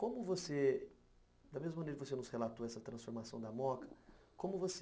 Como você... Da mesma maneira que você nos relatou essa transformação da Moca, como você...